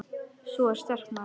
Sú er sterk, maður!